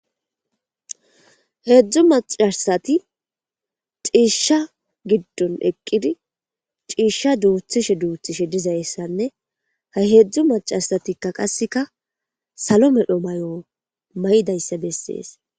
heedzdzu macasati ciisha giddon eqqidi ciisha duuthishe duuthishe dizayssanne ha heedzdzu macasatikka qasseka salo medho may7o may7dayssa bessees